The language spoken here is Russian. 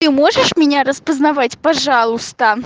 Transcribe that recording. ты можешь меня распознавать пожалуйста